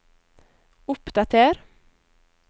oppdater